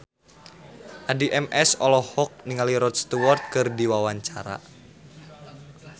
Addie MS olohok ningali Rod Stewart keur diwawancara